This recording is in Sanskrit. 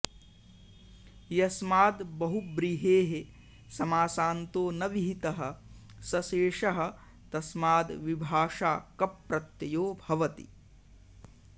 यस्माद् बहुव्रीहेः समासान्तो न विहितः स शेषः तस्माद् विभाषा कप् प्रत्ययो भवति